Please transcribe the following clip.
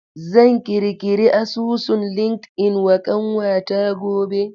Zan kirkiri asusun Linkedln wa ƙanwata gobe.